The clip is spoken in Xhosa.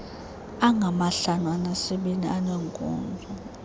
angamahlanu anesibini aneenkonzo